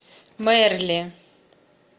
мерли